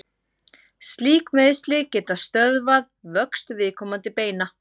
slík meiðsli geta stöðvað vöxt viðkomandi beina